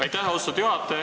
Aitäh, austatud juhataja!